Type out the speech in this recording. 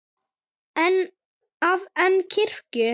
að en kirkju.